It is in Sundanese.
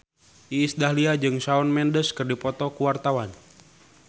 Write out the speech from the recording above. Iis Dahlia jeung Shawn Mendes keur dipoto ku wartawan